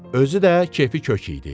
Özü də kefi kök idi.